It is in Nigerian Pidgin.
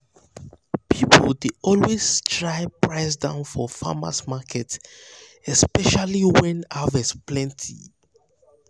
people dey always try price down for farmers’ market especially when harvest plenty.